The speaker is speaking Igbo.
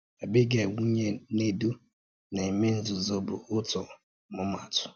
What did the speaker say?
Àbígàíl, nwùnyè Nèdù na-ème nzúzù bụ̀ otù ọ̀mụ̀mà àtụ̀.